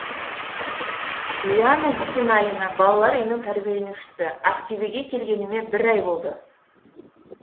лиана бисеналина балалар үйінің тәрбиеленушісі ақтөбеге келгеніме бір ай болды